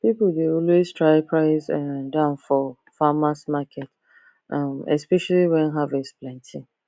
people dey always try price um down for farmers market um especially when harvest plenty